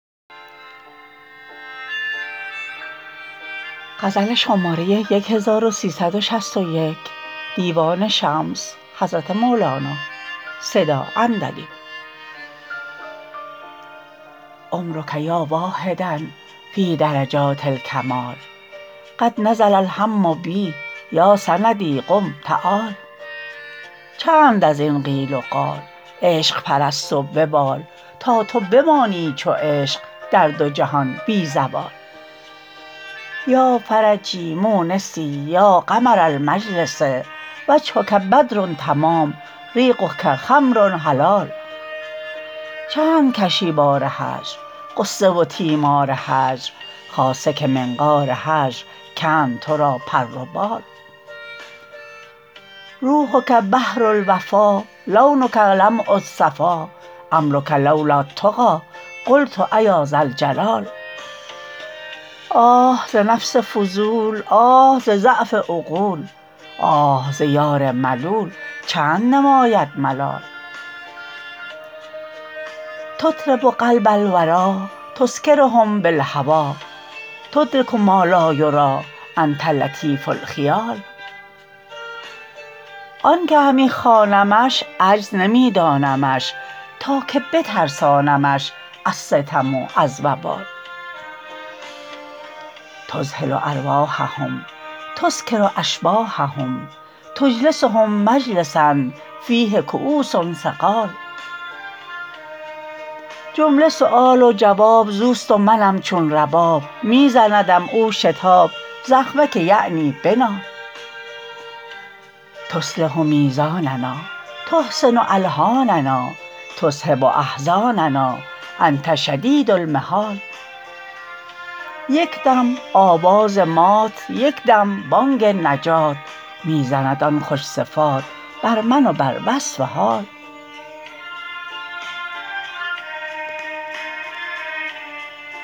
عمرک یا واحدا فی درجات الکمال قد نزل الهم بی یا سندی قم تعال چند از این قیل و قال عشق پرست و ببال تا تو بمانی چو عشق در دو جهان بی زوال یا فرجی مونسی یا قمر المجلس وجهک بدر تمام ریقک خمر حلال چند کشی بار هجر غصه و تیمار هجر خاصه که منقار هجر کند تو را پر و بال روحک بحر الوفا لونک لمع الصفا عمرک لو لا التقی قلت ایا ذا الجلال آه ز نفس فضول آه ز ضعف عقول آه ز یار ملول چند نماید ملال تطرب قلب الوری تسکرهم بالهوی تدرک ما لا یری انت لطیف الخیال آنک همی خوانمش عجز نمی دانمش تا که بترسانمش از ستم و از وبال تدخل ارواحهم تسکر اشباحهم تجلسهم مجلسا فیه کؤوس ثقال جمله سؤال و جواب زوست و منم چون رباب می زندم او شتاب زخمه که یعنی بنال تصلح میزاننا تحسن الحاننا تذهب احزاننا انت شدید المحال یک دم آواز مات یک دم بانگ نجات می زند آن خوش صفات بر من و بر وصف حال